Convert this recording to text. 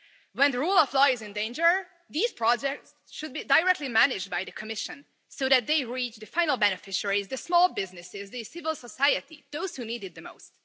When the rule of law is in danger, these projects should be directly managed by the Commission so that they reach the final beneficiaries, the small businesses, the civil society, those who need it the most.